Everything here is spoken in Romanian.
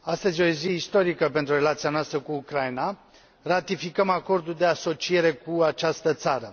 Domnule președinte, astăzi e o zi istorică pentru relația noastră cu Ucraina. Ratificăm Acordul de asociere cu această țară.